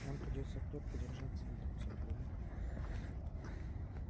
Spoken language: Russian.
нам придётся крепко держаться друг за друга